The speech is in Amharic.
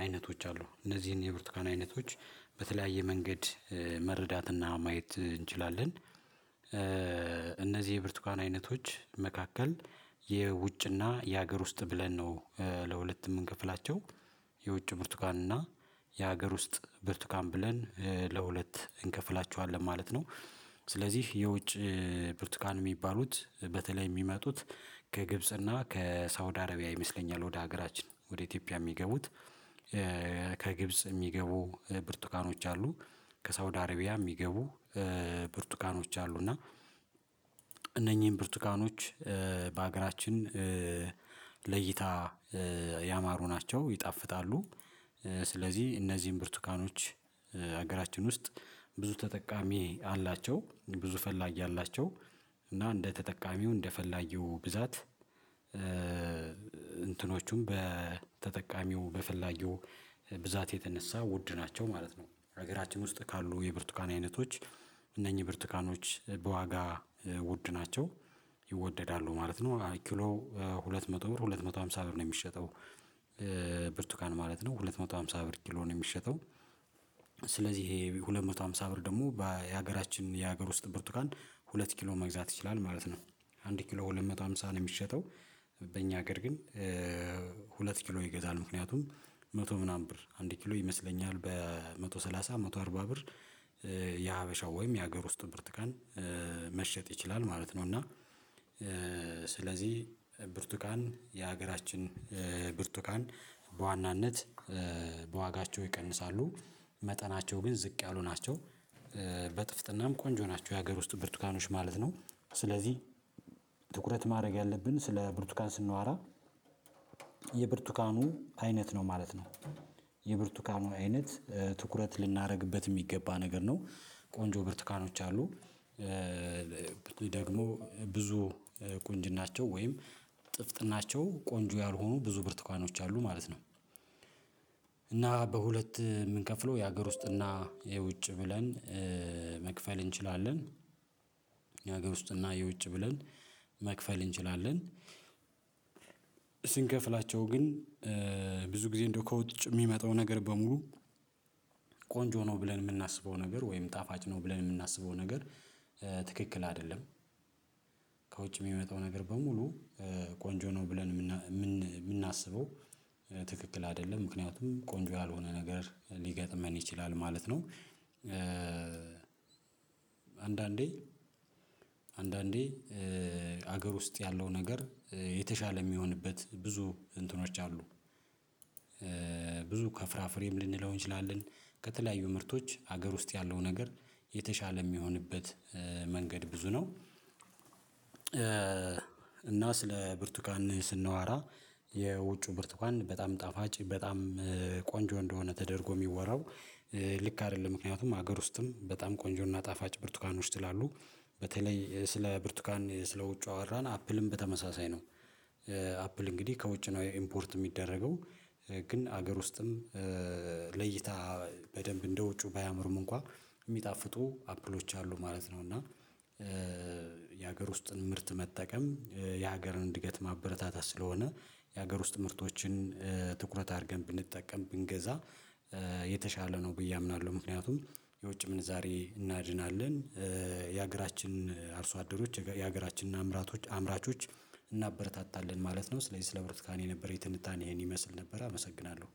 አይነቶች አሉ እነዚህን የብርቱካን አይነቶች በተለያየ መንገድ መረዳት እና ማየት እንችላለን። እነዚህ የብርቱካን አይነቶች መካከል የውጭ እና የሀገር ውስጥ ብለን ነው ለሁለት የምንከፍላቸው የውጭ ብርቱካን እና የሀገር ውስጥ ብርቱካን ብለን ለሁለት እንከፍላቸኋለን ማለት ነው። ስለዚህ የውጭ ብርቱካን የሚባሉት በተለይ የሚመጡት ከግብጽ እና ከሳውዲ አረቢያ ይመስለኛል ወደ ሀገራችን ወደ ኢትዮጵያ የሚገቡት። ከግብጽ የሚገቡ ብርቱካኖች አሉ ከሳውዲ አርቢያ የሚገቡ ብርቱካኖች አሉ እና። እነኚህን ብርቱካኖች በሀገራችን ለእይታ ያማሩ ናቸው ይጣፍጣሉ። ስለዚህ እነዚህን ብርቱካኖች ሀገራችን ውስጥ ብዙ ተጠቃሚ አላቸው ብዙ ፈላጊ አላቸው። እና እንደ ተጠቃሚው እንደ ፈላጊው ብዛት እንትኖቹም በተጠቃሚው በፈላጊው ብዛት የተነሳ ውድ ናቸው ማለት ነው። ሀገራችን ውስጥ ካሉ የብርቱካን አይነቶች እነኚህ ብርቱካኖች በዋጋ ውድ ናቸው ይወደዳሉ ማለት ነው። ኪሎ ሁለት መቶ ብር ሁለት መቶ ሃምሳ ብር ነው የሚሸጠው። ብርቱካን ማለት ነው ሁለት መቶ ሃምሳ ብር ኪሎ ነው የሚሸጠው። ስለዚህ ይሄ ሁለት መቶ ሃምሳ ብር ደግሞ በሀገራችን የሀገር ውስጥ ብርቱካን ሁለት ኪሎ መግዛት ይችላል ማለት ነው። አንድ ኪሎ ሁለት መቶ ሃምሳ ነው የሚሸጠው። በእኛ ሀገር ግን ሁለት ኪሎ ይገዛል ምክንያቱም መቶ ምናምን ብር አንድ ኪሎ ይመስለኛል በመቶ ሰላሳ መቶ አርባ ብር። የሀበሻው ወይም የሀገር ውስጥ ብርቱካን መሸጥ ይችላል ማለት ነው። እና ስለዚህ ብርቱካን የሀገራችን ብርቱካን በዋናነት በዋጋቸው ይቀንሳሉ መጠናቸው ግን ዝቅ ያሉ ናቸው። በጥፍጥናም ቆንጆ ናቸው የሀገር ውስጥ ብርቱካኖች ማለት ነው። ስለዚህ ትኩረት ማድረግ ያለብን ስለ ብርቱካን ስናወራ የብርቱካኑ አይነት ነው ማለት ነው። የብርቱካኑ አይነት ትኩረት ልናደርግበት የሚገባ ነገር ነው ቆንጆ ብርቱካኖች አሉ። ደግሞ ብዙ ቁንጅናቸው ወይም ጥፍጥናቸው ቆንጆ ያልሆኑ ብዙ ብርቱካኖች አሉ ማለት ነው። እና በሁለት የምንከፍለው የሀገር ውስጥ እና የውጭ ብለን መክፈል እንችላለን። የሃገር ውስጥ እና የውጭ ብለን መክፈል እንችላለን። ስንከፍላቸው ግን ብዙ ጊዜ እንደው ከውጭ የሚመጣው ነገር በሙሉ ቆንጆ ነው ብለን የምናስበው ነገር ወይም ጣፋጭ ነው ብለን የምናስበው ነገር ትክክል አይደለም። ከውጭ የሚመጣው ነገር በሙሉ ቆንጆ ነው ብለን የምናስበው ትክክል አይደለም ምክንያቱም ቆንጆ ያልሆነ ነገር ሊገጥመን ይችላል ማለት ነው። አንዳንዴ አንዳንዴ ሀገር ውስጥ ያለው ነገር የተሻለ የሚሆንበት ብዙ እንትኖች አሉ። ብዙ ከፍራፍሬም ልንለው እንችላለን ከተለያዩ ምርቶች ሀገር ውስጥ ያለው ነገር የተሻለ የሚሆንበት መንገድ ብዙ ነው። እና ስለ ብርቱካን ስናወራ የውጪው ብርቱካን በጣም ጣፋጭ በጣም ቆንጆ እንደሆነ ተደርጎ የሚወራው ልክ አይደለም ምክንያቱም ሀገር ውስጥም በጣም ቆንጆ እና ጣፋጭ ብርቱካኖች ስላሉ በተለይ ስለ ብርቱካን ስለ ውጭው አወራን አፕልም በተመሳሳይ ነው። አፕል እንግዲህ ከውጭ ነው ኢምፖርት የሚደረገው። ግን ሀገር ውስጥም ለእይታ በደንብ እንደ ውጭው ባያምሩም እንኳን የሚጣፍጡ አፕሎች አሉ ማለት ነው። እና የሀገር ውስጥን ምርት መጠቀም የሀገርን እድገት ማበረታታት ስለሆነ የሀገር ውስጥ ምርቶችን ትኩረት አድርገን ብንጠቀም ብንገዛ የተሻለ ነው ብዬ አምናለሁ። ምክንያቱም የውጭ ምንዛሬ እናድናለን። የሀገራችን አርሶ አደሮች የሀገራችን አምራቾች እናበረታታለን ማለት ነው። ስለዚህ ስለ ብርቱካን የነበረኝ ትንታኔ ይሄን ይመስል ነበር አመሰግናለሁ።